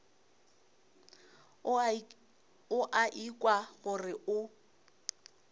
o a ikwa gore o